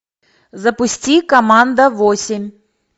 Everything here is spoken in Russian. запусти команда восемь